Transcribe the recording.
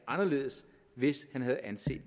anderledes hvis han havde anset